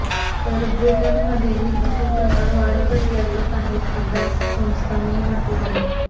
तर ब्रिटनमध्येही असे प्रकार वाढत असल्याचं काही अभ्यास संस्थांनी म्हटलं आहे